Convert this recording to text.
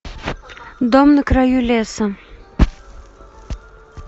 дом на краю леса